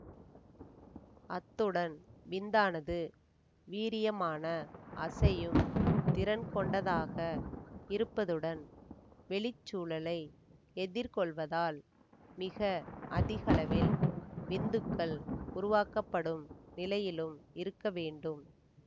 அத்துடன் விந்தானது வீரியமான அசையும் திறன் கொண்டதாக இருப்பதுடன் வெளிச் சூழலை எதிர் கொள்வதால் மிக அதிகளவில் விந்துக்கள் உருவாக்கப்படும் நிலையிலும் இருக்க வேண்டும்